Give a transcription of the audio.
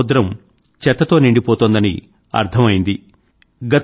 మన సముద్రం చెత్తతో నిండిపోతోందని అర్థం అయ్యింది